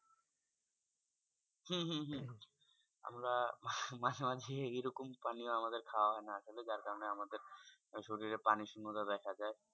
হম হম হম আমরা মাঝে মাঝে এরকম পানি খাওয়া হয়না আসলে। যার কারনে আমাদের শরীরে পানির শূন্যতা দেখা যায়।